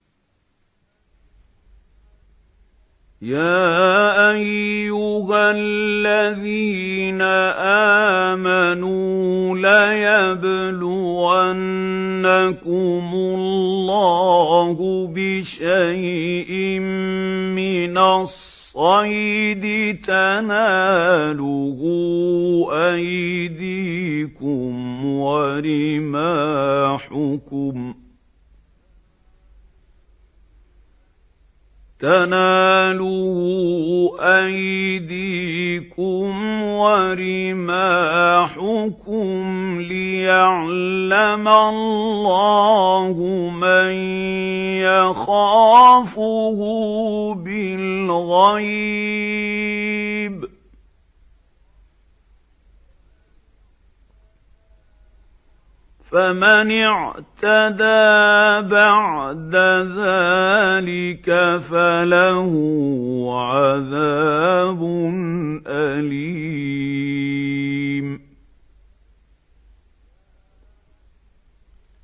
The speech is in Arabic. يَا أَيُّهَا الَّذِينَ آمَنُوا لَيَبْلُوَنَّكُمُ اللَّهُ بِشَيْءٍ مِّنَ الصَّيْدِ تَنَالُهُ أَيْدِيكُمْ وَرِمَاحُكُمْ لِيَعْلَمَ اللَّهُ مَن يَخَافُهُ بِالْغَيْبِ ۚ فَمَنِ اعْتَدَىٰ بَعْدَ ذَٰلِكَ فَلَهُ عَذَابٌ أَلِيمٌ